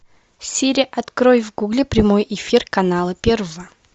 сири открой в гугле прямой эфир канала первого